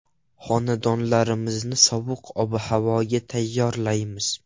Xonadonlarimizni sovuq ob-havoga tayyorlaymiz.